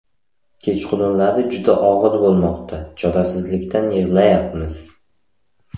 Kechqurunlari juda og‘ir bo‘lmoqda, chorasizlikdan yig‘layapmiz.